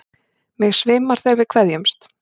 Mig svimar þegar við kveðjumst.